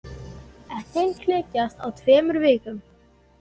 Eggin klekjast á tveimur vikum.